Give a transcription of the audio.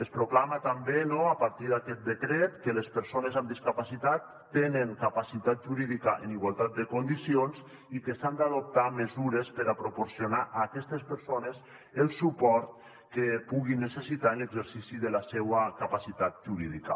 es proclama també no a partir d’aquest decret que les persones amb discapacitat tenen capacitat jurídica en igualtat de condicions i que s’han d’adoptar mesures per a proporcionar a aquestes persones el suport que puguin necessitar en l’exercici de la seua capacitat jurídica